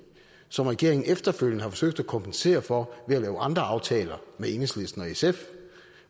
som regeringen efterfølgende har forsøgt at kompensere for ved at lave andre aftaler med enhedslisten og sf